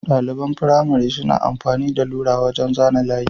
ɗaliban firamare sun amfani da lura wajan zana layi